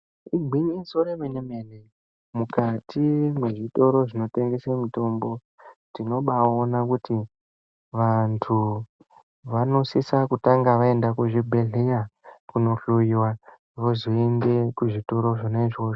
Igwinyiso remene-mene, mukati mwezvitoro zvinotengese mitombo. Tinobaona kuti vantu vanosisa kutanga vaenda kuzvibhedhleya kunohloiva vozoende kuzvitoro zvona izvozvo.